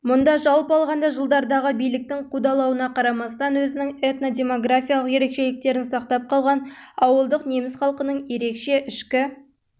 мұнда жалпы алғанда жылдардағы биліктің қудалауына қарамастан өзінің этнодемографиялық ерекшеліктерін сақтап қалған ауылдық неміс халқының ерекше ішкі